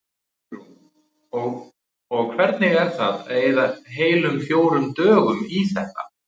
Hugrún: Og hvernig er það að eyða heilum fjórum dögum í þetta?